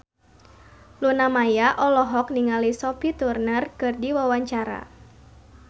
Luna Maya olohok ningali Sophie Turner keur diwawancara